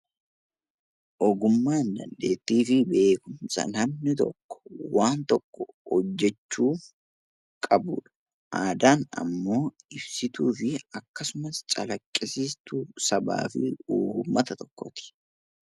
Ogummaan dandeettii fi beekumsa namni tokko waan tokko hojjechuuf qabudha. Aadaan immoo ibsituu fi agarsiistuu sabaa, uummata tokkooti.